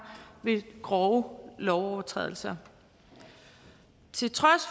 ved grove lovovertrædelser til trods